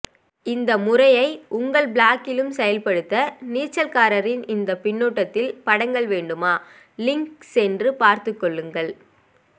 இந்த முறையை உங்கள் பிளாக்கிலும் செயல்படுத்த நீச்சல்காரனின் இந்த பின்னூட்டத்தில் படங்கள் வேண்டுமா லிங் சென்று பார்த்து கொள்ளுங்கள்